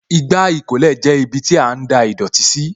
Igbá ìkólẹ̀ jẹ́ ibiti a ń da ìdọ̀tí sí